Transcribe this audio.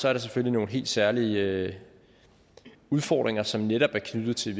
er der selvfølgelig nogle helt særlige udfordringer som netop er knyttet til